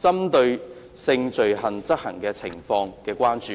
針對性罪行的執法情況的關注。